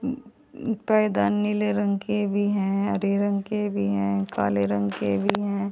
उम्म उम्म पर्दा नीले रंग के भी हैं हरे रंग के भी हैं काले रंग के भी हैं।